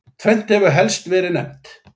Tvennt hefur helst verið nefnt.